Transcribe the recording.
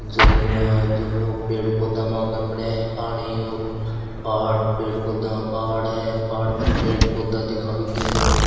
झरना है झरनों पेड़ पौधे महके पड हैं पानी और पहाड़ पेड़ पौधा पहाड़ है पहाड़ पर पेड़ पौधा दिखाई दे रहा हैं।